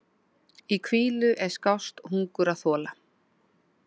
Í hvílu er skást hungur að þola.